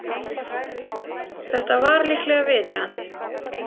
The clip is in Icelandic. Þetta var líklega viðeigandi.